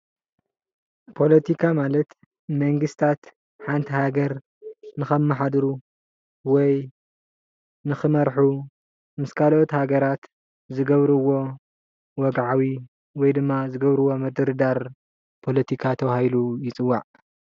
ፖለቲካ ማለት መንግስታት ሓንቲ ሃገር ንከማሓድሩ ወይ ንክመርሑ ምስ ካልኦት ሃገራት ዝገብርዎ ወግዓዊ ወይ ድማ ዝገብርዎ ምድርዳር ፖለቲካ ተባሂሉ ይፅዋዕ፡፡